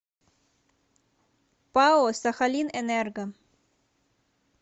пао сахалинэнерго